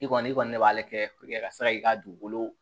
I kɔni i kɔni ne b'ale kɛ ka se k'i ka dugukolo